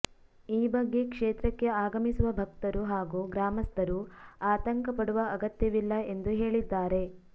ಈ ಬಗ್ಗೆ ಕ್ಷೇತ್ರಕ್ಕೆ ಆಗಮಿಸುವ ಭಕ್ತರು ಹಾಗೂ ಗ್ರಾಮಸ್ಥರು ಆತಂಕ ಪಡುವ ಅಗತ್ಯವಿಲ್ಲ ಎಂದು ಹೇಳಿದ್ದಾರೆ